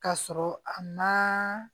Ka sɔrɔ a ma